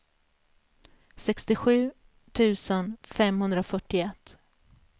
sextiosju tusen femhundrafyrtioett